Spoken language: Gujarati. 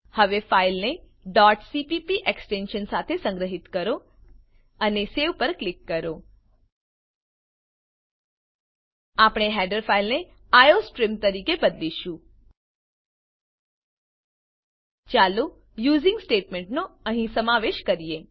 હવે ફાઈલને cpp એક્સટેંશન સાથે સંગ્રહીત કરો અને સવે પર ક્લિક કરો આપણે હેડર ફાઈલને આઇઓસ્ટ્રીમ તરીકે બદલીશું ચાલો યુઝિંગ સ્ટેટમેંટનો અહીં સમાવેશ કરીએ